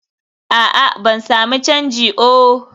a'a, ban sami canji oh